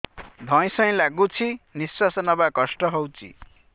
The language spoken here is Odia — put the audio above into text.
ଧଇଁ ସଇଁ ଲାଗୁଛି ନିଃଶ୍ୱାସ ନବା କଷ୍ଟ ହଉଚି